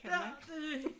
Ja det er